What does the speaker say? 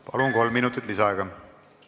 Palun, kolm minutit lisaaega!